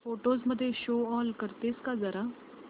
photos मध्ये show all करतेस का जरा